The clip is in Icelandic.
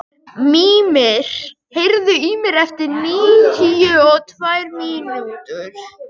Mímir, heyrðu í mér eftir níutíu og tvær mínútur.